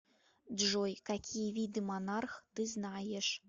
джой какие виды монарх ты знаешь